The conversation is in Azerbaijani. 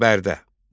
Bərdə.